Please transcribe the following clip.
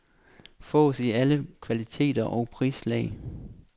Fås i alle kvaliteter og prislag.